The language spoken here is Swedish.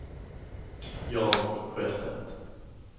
Jan Sjöstedt